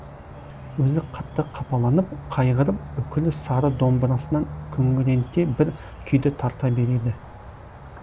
өзі қатты қапаланып қайғырып үкілі сары домбырасынан күңіренте бір күйді тарта береді